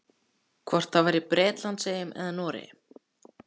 Hvort það var frá Bretlandseyjum eða Noregi.